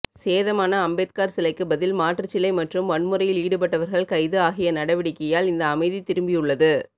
சேதமான அம்பேத்கர் சிலைக்கு பதில் மாற்றுச்சிலை மற்றும் வன்முறையில் ஈடுபட்டவர்கள் கைது ஆகிய நடவடிக்கையால் இந்த அமைதி திரும்பியுள்ளது